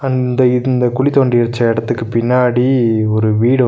இந்த இந்த குழி தோண்டி வெச்ச எடத்துக்கு பின்னாடி ஒரு வீடு ஒன்னு.